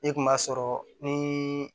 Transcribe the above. E kun b'a sɔrɔ ni